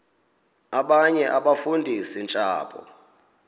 abanye abafundisi ntshapo